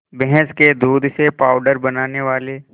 भैंस के दूध से पावडर बनाने वाले